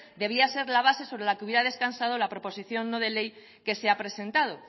debía ser la base sobre la que hubiera descansado la proposición no de ley que se ha presentado